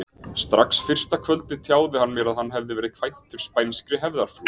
Strax fyrsta kvöldið tjáði hann mér að hann væri kvæntur spænskri hefðarfrú.